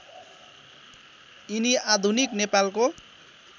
यिनी आधुनिक नेपालको